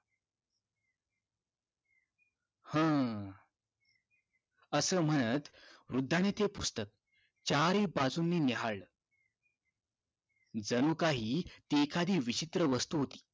हम्म असं म्हणत वृद्धाने ते पुस्तक चारी बाजूनी न्याहाळलं जणू काही ती एखादि विचित्र वस्तू होती